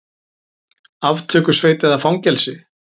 Aftökusveit eða fangelsi?